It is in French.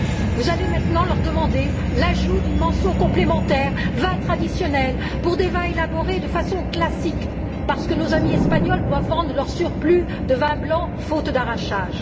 Vous allez maintenant leur demander l'ajout d'une mention complémentaire vin traditionnel, pour des vins élaborés de façon classique, parce que nos amis espagnols doivent vendre leur surplus de vin blanc, faute d'arrachage.